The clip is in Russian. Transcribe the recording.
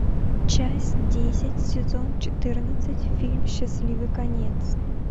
часть десять сезон четырнадцать фильм счастливый конец